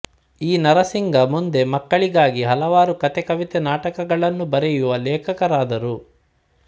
ಈ ನರಸಿಂಗ ಮುಂದೆ ಮಕ್ಕಳಿಗಾಗಿ ಹಲವಾರು ಕತೆ ಕವಿತೆ ನಾಟಕಗಳನ್ನು ಬರೆಯುವ ಲೇಖಕರಾದರು